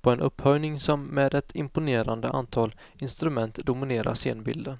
på en upphöjning som med ett imponerande antal instrument dominerar scenbilden.